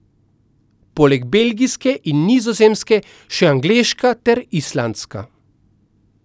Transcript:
Poleg belgijske in nizozemske še angleška ter islandska.